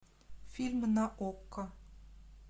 фильм на окко